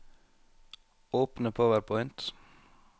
Åpne PowerPoint